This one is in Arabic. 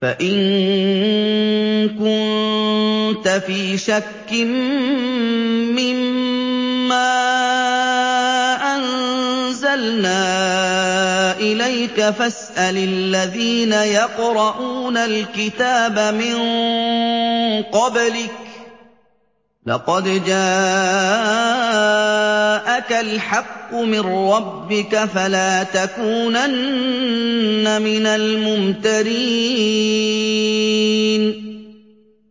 فَإِن كُنتَ فِي شَكٍّ مِّمَّا أَنزَلْنَا إِلَيْكَ فَاسْأَلِ الَّذِينَ يَقْرَءُونَ الْكِتَابَ مِن قَبْلِكَ ۚ لَقَدْ جَاءَكَ الْحَقُّ مِن رَّبِّكَ فَلَا تَكُونَنَّ مِنَ الْمُمْتَرِينَ